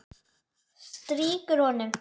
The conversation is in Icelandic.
Strýkur honum.